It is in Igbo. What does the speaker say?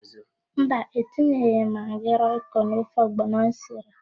Mba, etinyeghị m magị roịko n'ofe ọgbọnọ m siri.